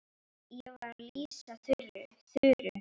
Ég var að lýsa Þuru.